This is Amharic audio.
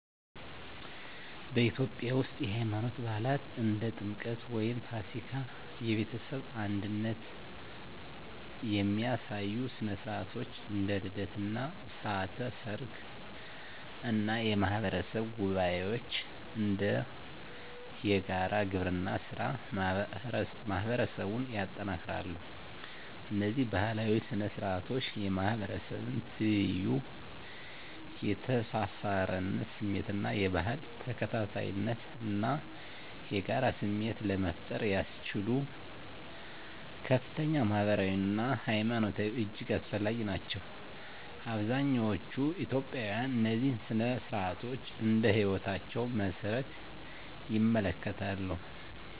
በኢትዮጵያ ውስጥ፣ የሃይማኖት በዓላት (እንደ ጥምቀት ወይም ፋሲካ)፣ የቤተሰብ አንድነት የሚያሳዩ ሥነ ሥርዓቶች (እንደ ልደት እና ሥርዓተ ሰርግ) እና የማህበረሰብ ጉባኤዎች (እንደ የጋራ ግብርና ሥራ) ማህበረሰቡን ያጠናክራሉ። እነዚህ ባህላዊ ሥነ ሥርዓቶች የማህበረሰብ ትይዩ፣ የተሳሳርነት ስሜት እና የባህል ተከታታይነት እና የጋራ ስሜት ለመፍጠር ያስችሉ ከፍተኛ ማህበራዊ አና ሀይማኖታዊ እጅግ አስፈላጊ ናቸው። አብዛኛዎቹ ኢትዮጵያውያን እነዚህን ሥነ ሥርዓቶች እንደ ህይወታቸው መሰረት ይመለከታሉ።